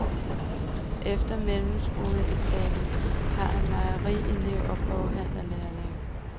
Efter mellemskoleeksamen var han mejerielev og boghandlerlærling.